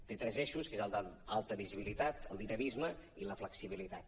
té tres eixos que són el d’alta visibilitat el dinamisme i la flexibilitat